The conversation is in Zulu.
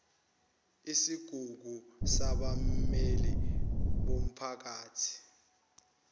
isigungu sabammeli bomphakathi